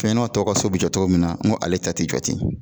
Fɛn ɲɛnama tɔw ka so be jɔ cogo min na ŋo ale ta te jɔ ten.